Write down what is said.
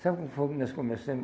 Sabe como foi que nós começamos?